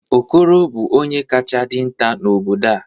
okoro bu onye kacha dinta n'obodo a